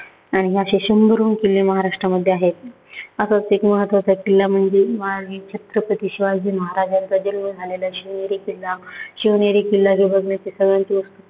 आणि अशे शंभरहून किल्ले महाराष्ट्रामध्ये आहेत. असाच एक महत्वाचा किल्ला म्हणजे, महाराज छत्रपती शिवाजी महाराजांचा जन्म झालेला शिवनेरी किल्ला. शिवनेरी किल्ला बघण्याची सर्वांची